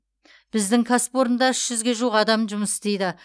біздің кәсіпорында үш жүзге жуық адам жұмыс істейді